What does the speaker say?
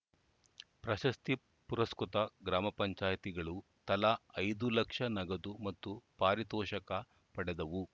ಪ್ರಶಸ್ತಿ ಪುರಸ್ಕೃತ ಗ್ರಾಮ ಪಂಚಾಯತಿಗಳು ತಲಾ ಐದು ಲಕ್ಷ ನಗದು ಮತ್ತು ಪಾರಿತೋಷಕ ಪಡೆದವು